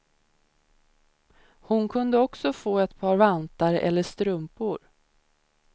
Hon kunde också få ett par vantar eller strumpor.